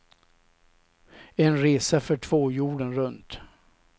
En resa för två jorden runt.